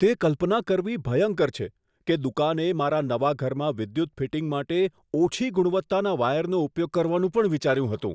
તે કલ્પના કરવી ભયંકર છે કે દુકાને મારા નવા ઘરમાં વિદ્યુત ફિટિંગ માટે ઓછી ગુણવત્તાના વાયરનો ઉપયોગ કરવાનું પણ વિચાર્યું હતું.